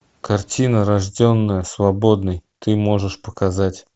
картина рожденная свободной ты можешь показать